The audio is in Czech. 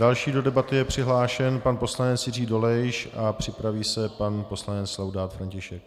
Další do debaty je přihlášen pan poslanec Jiří Dolejš a připraví se pan poslanec Laudát František.